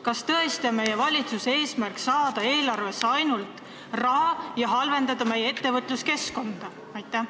Kas tõesti on valitsuse eesmärk ainult eelarvesse raha saada, kuigi selle määra kehtestamine halvendab meie ettevõtluskeskkonda?